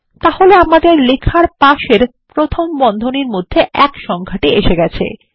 তাহলে আমাদের লেখার পাশের প্রথম বন্ধনী মধ্যে এক সংখ্যাটি এসে গেছে